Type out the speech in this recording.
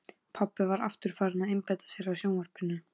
Pabbi var aftur farinn að einbeita sér að sjónvarpinu.